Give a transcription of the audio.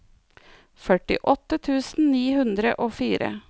førtiåtte tusen ni hundre og fire